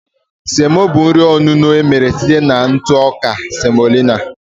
Semo bụ nri onuno emere site na ntụ ọka semolina